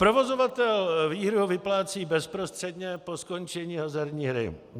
Provozovatel výhru vyplácí bezprostředně po skončení hazardní hry.